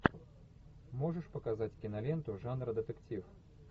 можешь показать киноленту жанра детектив